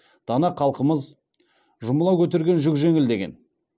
дана халқымыз жұмыла көтерген жүк жеңіл деген